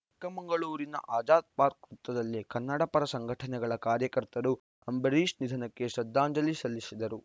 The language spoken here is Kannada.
ಚಿಕ್ಕಮಗಳೂರಿನ ಆಜಾದ್‌ ಪಾರ್ಕ್ ವೃತ್ತದಲ್ಲಿ ಕನ್ನಡಪರ ಸಂಘಟನೆಗಳ ಕಾರ್ಯಕರ್ತರು ಅಂಬರೀಶ್‌ ನಿಧನಕ್ಕೆ ಶ್ರದ್ಧಾಂಜಲಿ ಸಲ್ಲಿಸಿದರು